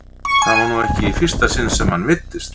Þetta væri nú ekki í fyrsta sinn sem hann meiddist.